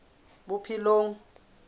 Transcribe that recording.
bophelong